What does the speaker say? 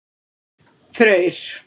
Freyr